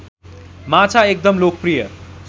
माछा एकदम लोकप्रिय